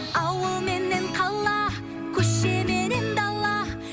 ауыл менен қала көше менен дала